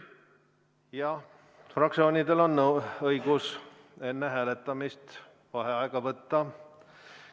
Jah, fraktsioonidel on õigus enne hääletamist vaheaega võtta.